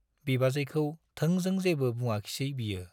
बिबाजैखौ थोंजों जेबो बुङाखिसै बियो।